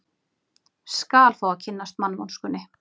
Skal fá að kynnast mannvonskunni.